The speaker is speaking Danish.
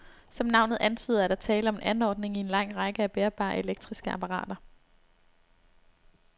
Som navnet antyder, er der tale om en anordning i en lang række af bærbare elektriske apparater.